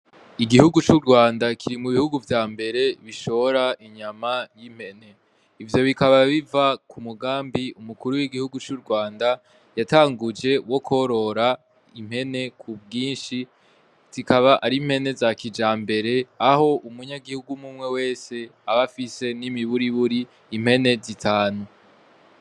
Igihugu c'uRwanda kiri mugihugu vya mbere bishora inyama y'impene ivyo bikaba biva ku mugambi umukuru w'igihugu c'uRwanda yatanguje wo korora impene ku bwinshi zikaba ari impene za kijambere aho umunyagihugu umumwe wese abafise ni miburiburi impene zitanu.